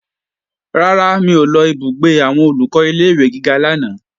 Rárá, mi ò lọ ìbúgbé àwọn Olùkọ́ ilé-ìwé gíga lánàá